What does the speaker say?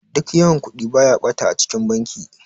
Duk yawan Kudi baya bata a cikin banki.